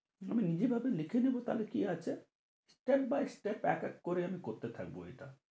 আমি নিজের ভেবে লিখে নেবো তা হলে কি আছে step by step এক এক করে করতে থাকবো এটা।